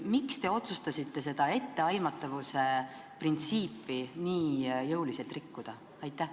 Miks te otsustasite seda etteaimatavuse printsiipi nii jõuliselt rikkuda?